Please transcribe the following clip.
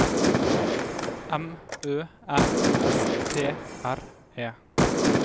M Ø N S T R E